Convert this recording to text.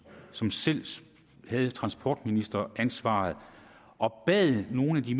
som selv havde transportministeransvaret og bad nogle af de